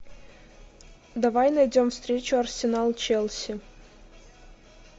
давай найдем встречу арсенал челси